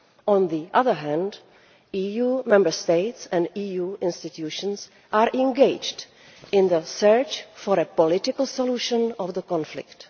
On the other hand, EU Member States and EU institutions are engaged in the search for a political solution to the conflict.